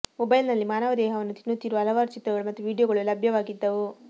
ಮೊಬೈಲ್ನಲ್ಲಿ ಮಾನವ ದೇಹವನ್ನು ತಿನ್ನುತ್ತಿರುವ ಹಲವಾರು ಚಿತ್ರಗಳು ಮತ್ತು ವಿಡಿಯೋಗಳು ಲಭ್ಯವಾಗಿದ್ದವು